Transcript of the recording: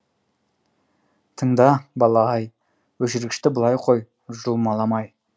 тыңда бала ай өшіргішті былай қой жұлмаламай